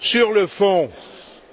Sur le fond,